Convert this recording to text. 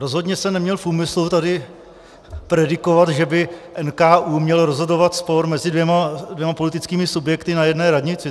Rozhodně jsem neměl v úmyslu tady predikovat, že by NKÚ měl rozhodovat spor mezi dvěma politickými subjekty na jedné radnici.